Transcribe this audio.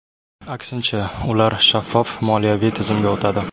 Aksincha, ular shaffof moliyaviy tizimga o‘tadi.